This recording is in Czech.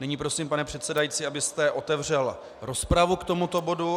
Nyní prosím, pane předsedající, abyste otevřel rozpravu k tomuto bodu.